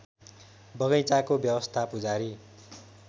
बगैँचाको व्यवस्था पुजारी